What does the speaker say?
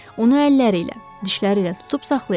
Onu əlləriylə, dişləriylə tutub saxlayardı.